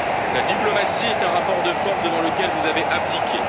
La diplomatie est un rapport de force devant lequel vous avez abdiqué.